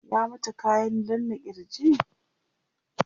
ya mata kayan danna kirj?